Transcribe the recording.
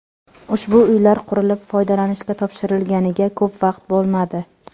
Ushbu uylar qurilib, foydalanishga topshirilganiga ko‘p vaqt bo‘lmadi.